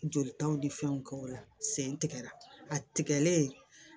Jolitaw ni fɛnw kɛ o la sen tigɛra a tigɛlen